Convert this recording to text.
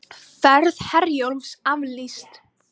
Ferð Herjólfs aflýst